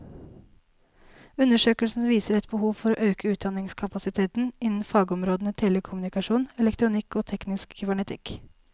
Undersøkelsen viser et behov for å øke utdanningskapasiteten innen fagområdene telekommunikasjon, elektronikk og teknisk kybernetikk.